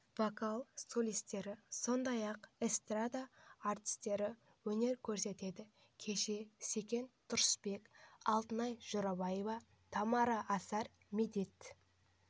вокалы солистері сондай-ақ эстрада артистері өнер көрсетеді кешке секен тұрысбек алтынай жорабаева тамара асар медет